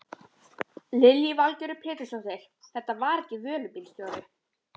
Lillý Valgerður Pétursdóttir: Þetta var ekki vörubílstjóri?